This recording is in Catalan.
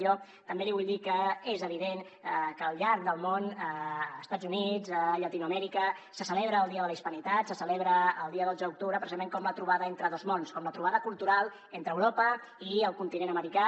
jo també li vull dir que és evident que al llarg del món a estats units a llatinoamèrica se celebra el dia de la hispanitat se celebra el dia dotze d’octubre precisament com la trobada entre dos mons com la trobada cultural entre europa i el continent americà